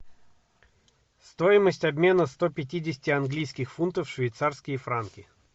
стоимость обмена сто пятидесяти английских фунтов в швейцарские франки